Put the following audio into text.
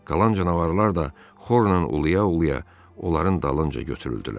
Qalan canavarlar da xorla uluya-uluya onların dalınca götürüldülər.